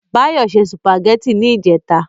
Báyọ̀ ṣe sùpàgẹ́tì ní ìjẹta